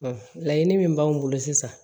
laɲini min b'anw bolo sisan